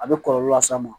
A bɛ kɔlɔlɔ las'a ma